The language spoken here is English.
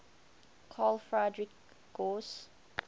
carl friedrich gauss